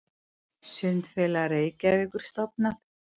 Sundfélag Reykjavíkur stofnað.